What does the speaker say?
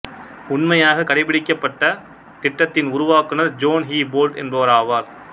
உண்மையாகக் கடைப் பிடிக்கப்பட்ட திட்டத்தின் உருவாக்குனர் ஜோன் ஹூபோல்ட் என்பவராவர்